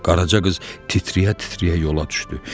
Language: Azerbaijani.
Qaraca qız titrəyə-titrəyə yola düşdü.